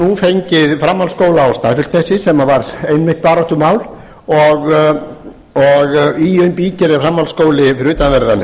nú fengið framhaldsskóla á snæfellsnesi sem var einmitt baráttumál og í bígerð er framhaldsskóli við utanverðan